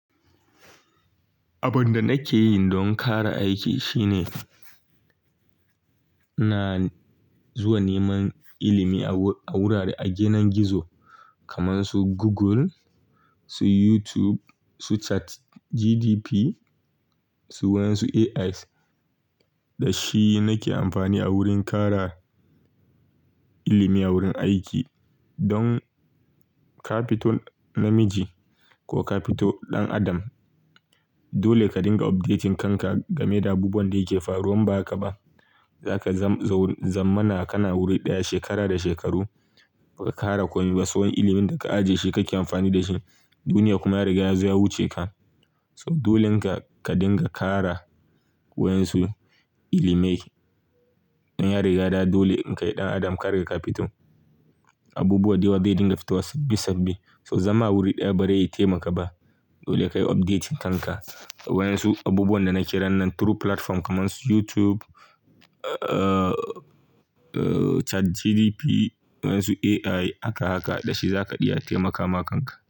Abin da nake yi don ƙara aiki shine, ina zuwa neman ilimi a wurare a ginin gizo kamar su Google, su YouTube, su Chat GDP, su wayansu AIs. Da shi nake amfani a wurin ƙara ilimi a wurin aiki. Don ka fito namiji ko ka fito ɗan adam, dole ka dinga updating kanka game da abubuwan da yake faruwa. Ba haka ba, za ka zamana kana wuri ɗaya shekara da shekaru ba ka ƙara komi ba. Tsohon ilimin da ka ajiye shi kake amfani da shi, duniya kuma ya riga yazo ya wuce ka. To dolen ka ka ringa kara wayan su ilimai don ya rigada dolen kai ɗan adam ka riga ka fito. Abubuwa dayawa dai dinga fitowa sabbi sabbi. So zama awuri ɗaya barai taimaka ba. Dole ka yi updating kanka. Wayansu abubuwan da nake yi ranan through platform kamar su YouTube, Chat GDP, wadansu AI haka haka. Da shi za ka ɗia taimaka ma kanka.